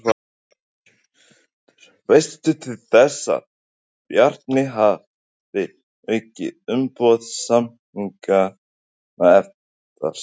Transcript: Hjörtur: Veistu til þess að Bjarni hafi aukið umboð samninganefndar sinnar?